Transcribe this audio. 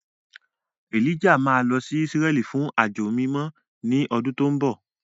Elijah máa lọ sí Ísírẹ́lì fún àjọ mímọ́ ní ọdún tó ń bọ̀.